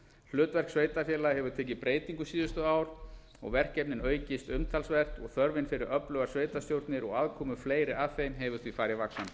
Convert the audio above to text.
hlutverk sveitarfélaga hefur tekið breytingum síðustu ár og verkefnin aukist umtalsvert og þörfin fyrir öflugar sveitarstjórnir og aðkomu fleiri að þeim hefur því farið vaxandi